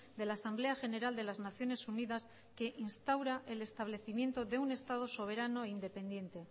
de la asamblea general de las naciones unidas que instaura el establecimiento de un estado soberano e independiente